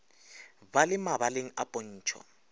ba le mabaleng a pontšho